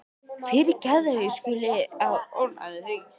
Fyrirgefðu að ég skuli vera að ónáða þig.